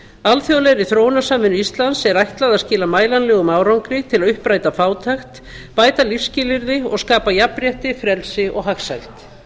alþjóðlegri þróunarsamvinnu íslands er ætlað að skila mælanlegum árangri til að uppræta fátækt bæta lífsskilyrði og skapa jafnrétti frelsi og hagsæld